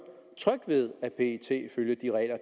tryg ved at pet følger de regler